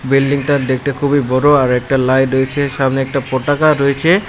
বিল্ডিংটা দেকতে খুবই বড়ো আর একটা লাইট রয়েছে সামনে একটা পটাকা রয়েছে।